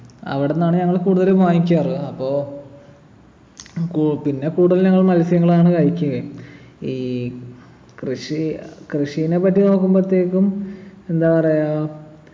അവിടുന്നാണ് ഞങ്ങൾ കൂടുതലും വാങ്ങിക്കാറ് അപ്പൊ ഉം കൂ പിന്നെ കൂടുതൽ ഞങ്ങൾ മത്സ്യങ്ങളാണ് കഴിക്കുകയും ഈ കൃഷി കൃഷിനെപ്പറ്റി നോക്കുമ്പോത്തേക്കും എന്താ പറയാ